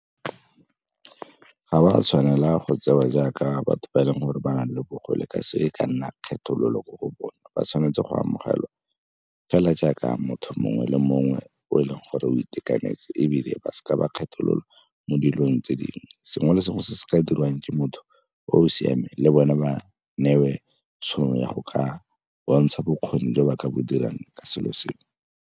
Ga ba tshwanela go tsewa jaaka batho ba e leng gore ba na le bogole ka se e ka nna kgethololo ko go bone, ba tshwanetse go amogelwa fela jaaka motho mongwe le mongwe o e leng gore o itekanetse. Ebile ba seka ba kgethololwa mo dilong tse dingwe. Sengwe le sengwe se se ka diriwang ke motho o o siameng le bone ba newe tšhono ya go ka bontsha bokgoni jwa ba ka bo dirang ke selo seo.